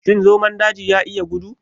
Shin zomon daji ya iya gudu?